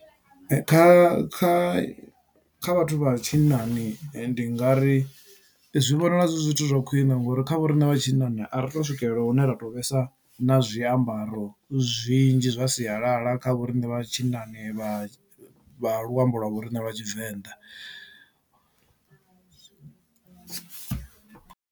Kha kha kha vhathu vha tshinnani ndi nga ri zwi vhonala zwi zwithu zwa khwiṋe ngori kha vho riṋe vha tshinnani a ri to swikelela hune ra to vhesa na zwiambaro zwinzhi zwa sialala kha vho riṋe vha tshinnani vha luambo lwa vho riṋe lwa tshivenḓa.